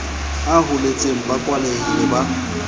a holetseng ba kwalehile ba